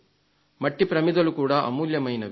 మట్టి ప్రమిదలు అమూల్యమైనవి